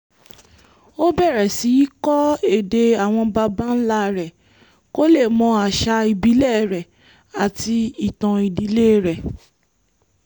ó bẹ̀rẹ̀ sí í kọ́ èdè àwọn baba ńlá rẹ̀ kó lè mọ àṣà ìbílẹ̀ rẹ̀ àti ìtàn ìdílé rẹ̀